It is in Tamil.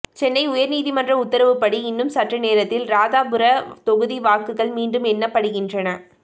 சென்னை உயர்நீதிமன்ற உத்தரவுப்படி இன்னும் சற்று நேரத்தில் ராதாபுரம் தொகுதி வாக்குகள் மீண்டும் எண்ணப்படுகின்றன